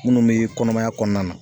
Minnu be kɔnɔmaya kɔnɔna na